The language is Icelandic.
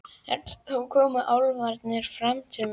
En þá koma álfarnir bara til mín.